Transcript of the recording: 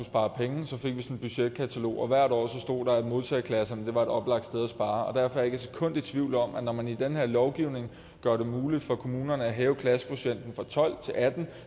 spare penge sådan et budgetkatalog og hvert år stod der at modtageklasserne var et oplagt sted at spare og derfor er jeg ikke et sekund i tvivl om at når man i den her lovgivning gør det muligt for kommunerne at hæve klassekvotienten fra tolv til atten